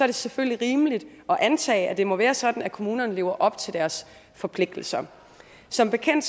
det selvfølgelig rimeligt at antage at det må være sådan at kommunerne lever op til deres forpligtelser som bekendt